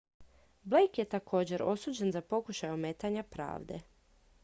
blake je također osuđen za pokušaj ometanja pravde